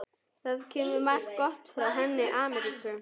Það kemur margt gott frá henni Ameríku.